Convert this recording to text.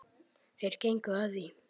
Þeir gengu að því.